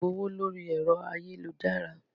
A máa gbowó lórí ẹ̀rọ ayélujára.